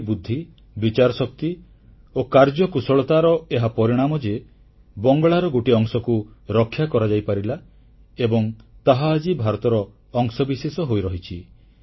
ତାଙ୍କରି ବୁଦ୍ଧି ବିଚାରଶକ୍ତି ଓ କାର୍ଯ୍ୟକୁଶଳତାର ଏହା ପରିଣାମ ଯେ ବଙ୍ଗଳାର ଗୋଟିଏ ଅଂଶକୁ ରକ୍ଷା କରାଯାଇପାରିଲା ଏବଂ ତାହା ଆଜି ଭାରତର ଅଂଶବିଶେଷ ହୋଇରହିଛି